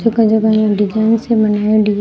जगा जगा ने डिजाइन सी बनायेडी है।